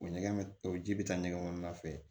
O ɲɛgɛn o ji bɛ taa ɲɛgɛn ŋɔni na fɛ